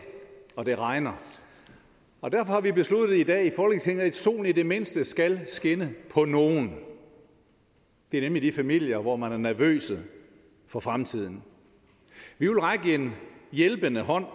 og det regner og derfor har vi besluttet i dag i folketinget at solen i det mindste skal skinne på nogle det er nemlig de familier hvor man er nervøse for fremtiden vi vil række en hjælpende hånd